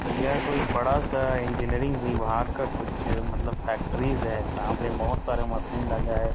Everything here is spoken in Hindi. यह कोई बड़ा-सा इंजीनियरिंग विभाग का कुछ मतलब फैक्ट्रीज है जहाँ पे बहोत सारे मशीन लगा है।